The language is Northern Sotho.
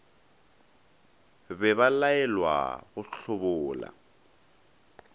be ba laelwa go hlobola